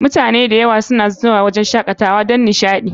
Mutane da yawa suna zuwa wurin shakatawa don nishaɗi